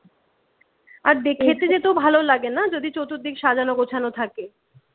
আর খেতে যেতেও ভালো লাগে না যদি চতুর্দিক সাজানো গোছানো থাকে